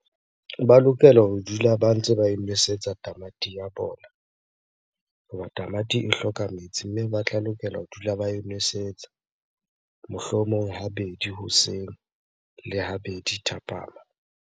Ba lokela ho dula ba ntse ba e nosetsa tamati ya bona. Hoba tamati e hloka metsi, mme ba tla lokela ho dula ba e nwesetsa. Mohlomong habedi hoseng le habedi thapama.